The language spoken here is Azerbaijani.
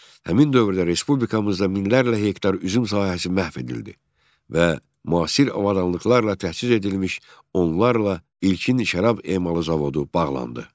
Həmin dövrdə respublikamızda minlərlə hektar üzüm sahəsi məhv edildi və müasir avadanlıqlarla təchiz edilmiş onlarla ilkin şərab emalı zavodu bağlandı.